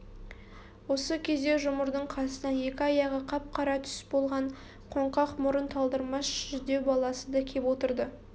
осы кезде жұмырдың қасына екі аяғы қап-қара күс болған қоңқақ мұрын талдырмаш жүдеу баласы да кеп отырды